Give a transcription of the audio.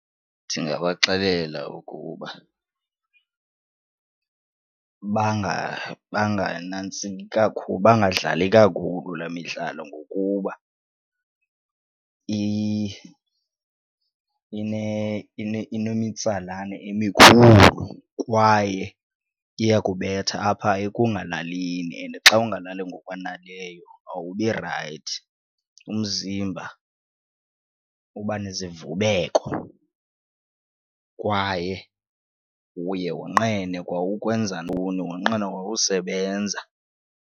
Ndingabaxelela ukuba banganantsiki kakhulu bangadlali kakhulu laa midlalo ngokuba inemitsalane emikhulu kwaye iyakubetha apha ekungalalini and xa ungalali ngokwaneleyo awubi rayithi umzimba uba nezivubeko kwaye uye wonqene kwa ukwenza ntoni wonqene kwa usebenza.